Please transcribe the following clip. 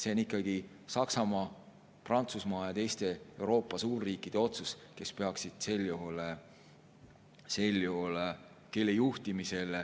See on ikkagi Saksamaa, Prantsusmaa ja teiste Euroopa suurriikide otsus, kelle juhtimisel see sel juhul peaks toimuma.